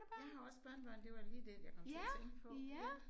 Jeg har også børnebørn det var da lige den jeg kom til at tænke på ja